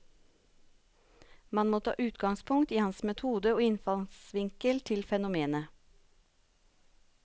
Man må ta utgangspunkt i hans metode og innfallsvinkel til fenomenet.